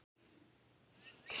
Áður átti Jens Tind Óla.